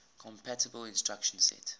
compatible instruction set